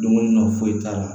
Dumuni na foyi t'a la